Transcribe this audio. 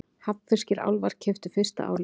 Hafnfirskir álfar keyptu fyrsta Álfinn